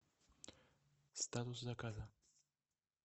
статус заказа